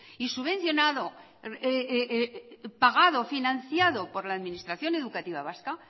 y subvencionado pagado financiado por la administración educativa vasca